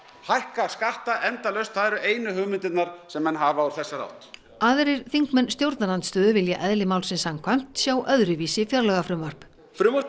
hækka skatta endalaust það eru einu hugmyndirnar sem menn hafa úr þessari átt aðrir þingmenn stjórnarandstöðu vilja eðli málsins samkvæmt sjá öðruvísi fjárlagafrumvarp frumvarp